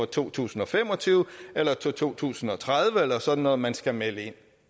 to tusind og fem og tyve eller to tusind og tredive eller sådan noget som man skal melde ind